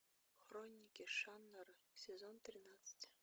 хроники шаннары сезон тринадцать